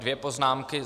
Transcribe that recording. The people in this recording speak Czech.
Dvě poznámky.